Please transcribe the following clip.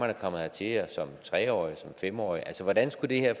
er kommet hertil som tre årig eller som fem årig hvordan skulle det her